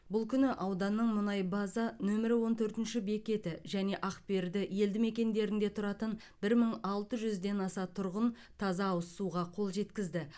бұл күні ауданның мұнай база нөмірі он төртінші бекеті және ақберді елді мекендерінде тұратын бір мың алты жүзден аса тұрғын таза ауыз суға қол жеткізді